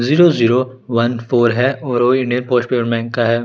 Zero zero one four है और वो ही इंडियन पोस्ट पेमेंट बैंक का है ।